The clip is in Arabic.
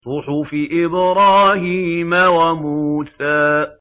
صُحُفِ إِبْرَاهِيمَ وَمُوسَىٰ